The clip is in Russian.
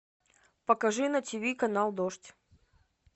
покажи на тв канал дождь